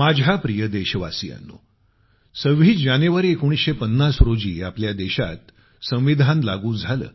माझ्या प्रिय देशवासियांनो 26 जानेवारी 1950 रोजी आपल्या देशात संविधान लागू झालं